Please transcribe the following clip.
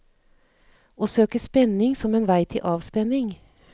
Å søke spenning som en vei til avspenning.